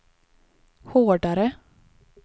hårdare